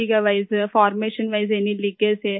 safety کے لئے permission کے لئے ، کوئی رساؤ ہو